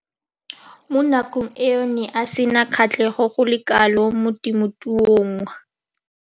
Mo nakong eo o ne a sena kgatlhego go le kalo mo temothuong.